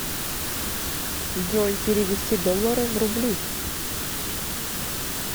джой перевести доллары в рубли